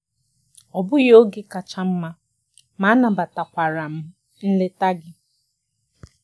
Ọ bụghị oge kacha mma, ma anabatakwara m nleta gị.